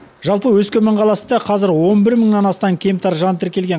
жалпы өскемен қаласында қазір он бір мыңнан астам кемтар жан тіркелген